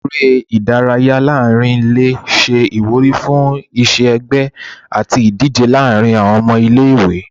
Eré ìdárayá láàrín ilé se ìwúrí fún iṣẹ ẹgbẹ àti ìdíje láàrín àwọn ọmọ ilé ìwé